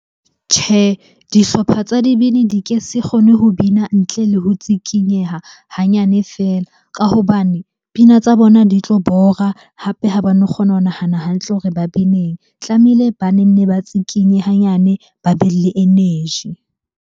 Tjhe, dihlopha tsa dibini di ke se kgone ho bina ntle le ho tsikinyeha hanyane fela. Ka hobane pina tsa bona di tlo bora, hape ha ba no kgona ho nahana hantle hore ba bineng. Tlamehile ba nne ba tsikinye hanyane, ba be le energy.